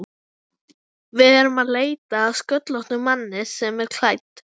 Við erum að leita að sköllóttum manni sem er klædd